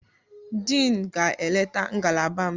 Diin ga-eleta ngalaba m taa.